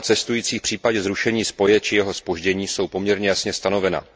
práva cestujících v případě zrušení spoje či jeho zpoždění jsou poměrně jasně stanovena.